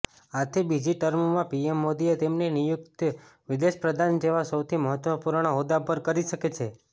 આથી બીજી ટર્મમાં પીએમ મોદીએ તેમની નિયુક્તિ વિદેશપ્રધાન જેવા સૌથી મહત્વપૂર્ણ હોદ્દા પર કરી છે